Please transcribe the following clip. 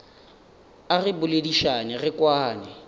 a re boledišane re kwane